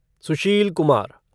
Sushil Kumar